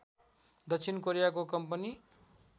दक्षिण कोरियाको कम्पनी